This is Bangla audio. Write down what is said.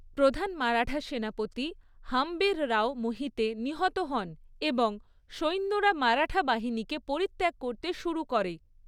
প্রধান মারাঠা সেনাপতি হাম্বিররাও মোহিতে নিহত হন এবং সৈন্যরা মারাঠা বাহিনীকে পরিত্যাগ করতে শুরু করে।